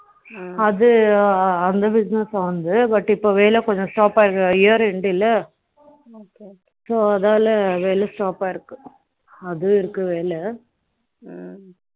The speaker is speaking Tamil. அது அந்த business அவனது பட் இப்போ வேலை கொஞ்சம் stop ஆகி year end இல்ல so அதனால வேலை stop ஆயிருக்கு இது இருக்கு வேலை ஆ